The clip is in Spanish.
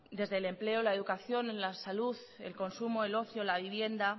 desde el empleo la educación la salud el consumo el ocio la vivienda